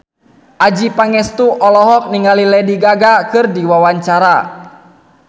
Adjie Pangestu olohok ningali Lady Gaga keur diwawancara